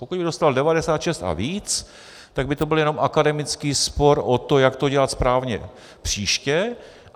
Pokud by dostal 96 a víc, tak by to byl jenom akademický spor o to, jak to dělat správně příště.